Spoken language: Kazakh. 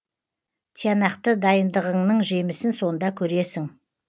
тиянақты дайындығыңның жемісін сонда көресің